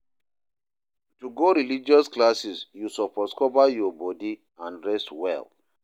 To go religious classes you suppose cover your body and dress well